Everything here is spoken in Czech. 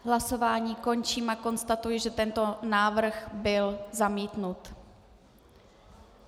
Hlasování končím a konstatuji, že tento návrh byl zamítnut.